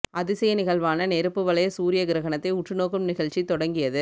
அதிசய நிகழ்வான நெருப்பு வளைய சூரிய கிரகணத்தை உற்றுநோக்கும் நிகழ்ச்சி தொடங்கியது